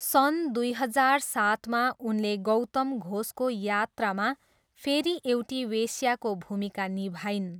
सन् दुई हजार सातमा उनले गौतम घोषको यात्रामा फेरि एउटी वेश्याको भूमिका निभाइन्।